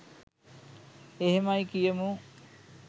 එහෙමයි කියමු